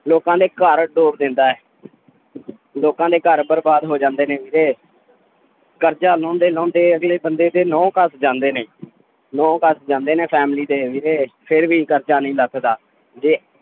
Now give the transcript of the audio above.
ਲੋਕਾਂ ਦੇ ਘਰ ਡੋਬ ਦਿੰਦਾ ਹੈ ਲੋਕਾਂ ਦੇ ਘਰ ਬਰਬਾਦ ਹੋ ਜਾਂਦੇ ਨੇ ਵੀਰੇ ਕਰਜ਼ਾ ਲਾਉਂਦੇ ਲਾਉਂਦੇ ਅਗਲੇ ਬੰਦੇ ਦੇ ਨਹੁੰ ਘਸ ਜਾਂਦੇ ਨੇ ਨਹੁੰ ਘਸ ਜਾਂਦੇ ਨੇ family ਦੇ ਵੀਰੇ ਫਿਰ ਵੀ ਕਰਜ਼ਾ ਨਹੀਂ ਲੱਥਾਦਾ ਜੇ